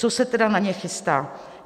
Co se tedy na ně chystá?